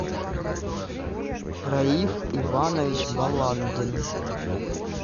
раиф иванович баландин